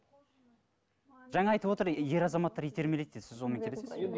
жаңа айтып отыр ер азаматтар итермелейді дейді сіз сонымен келісесіз бе